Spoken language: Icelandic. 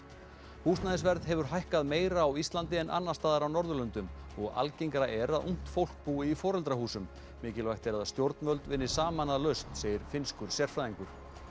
húsnæðisverð hefur hækkað meira á Íslandi en annars staðar á Norðurlöndum og algengara er að ungt fólk búi í foreldrahúsum mikilvægt er að stjórnvöld vinni saman að lausn segir finnskur sérfræðingur